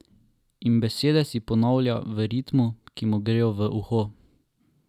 In besede si ponavlja v ritmu, ki mu gre v uho!